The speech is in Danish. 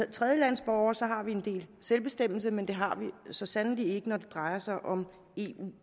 er tredjelandsborgere så har vi en del selvbestemmelse men det har vi så sandelig ikke når det drejer sig om eu